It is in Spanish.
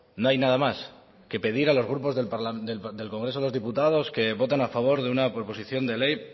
no hay nada más que pedir a los grupos del congreso de los diputados que voten a favor de una proposición de ley